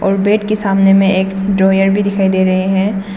और बेड के सामने में एक ड्रावर भी दिखाई दे रहे हैं।